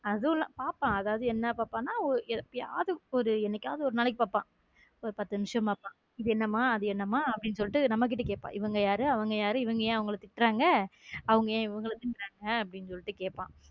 பாபப்பன் அதுவும் என்ன பாப்பான்னா என்னைக்காவது என்னைக்காவது ஒரு நாளைக்கு பார்ப்பான் ஒரு பத்து நிமிஷம் பார்ப்போம் இது என்னம்மா அது என்னம்மா அப்படின்னு சொல்லி நம்ம கிட்ட கேட்பான் இவங்க யாரு அவங்க யாரு இவங்க ஏன் அவங்கள திட்றாங்க அவங்க ஏன் இவங்களை திட்றாங்க அப்படின்னு சொல்லிட்டு கேட்பான்.